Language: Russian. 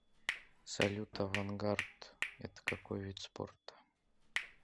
салют авангард это какой вид спорта